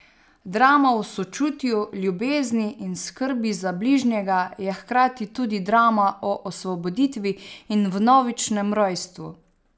Drama o sočutju, ljubezni in skrbi za bližnjega je hkrati tudi drama o osvoboditvi in vnovičnem rojstvu.